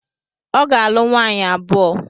Ọ ga-alụ nwaanyị abụọ.